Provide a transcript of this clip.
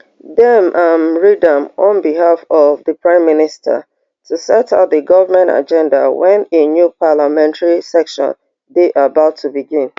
dem am read am on behalf of di prime minister to set out di govment agenda wen a new parliamentary session dey about to begin